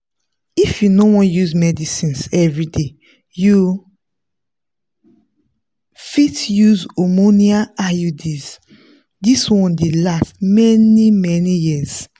if you no wan use medicines everyday you fit use hormonal iuds. this one dey last many many years.